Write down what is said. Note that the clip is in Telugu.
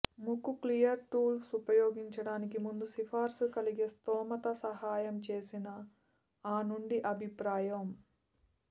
ముక్కు క్లియర్ టూల్స్ ఉపయోగించడానికి ముందు సిఫార్సు కలిగి స్తోమత సహాయం చేసిన ఆ నుండి అభిప్రాయం